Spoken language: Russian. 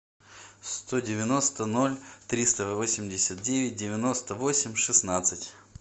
сто девяносто ноль триста восемьдесят девять девяносто восемь шестнадцать